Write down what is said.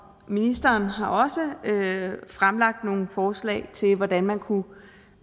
ministeren har også fremlagt nogle forslag til hvordan man kunne